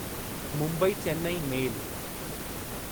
Mumbai Chennai मेल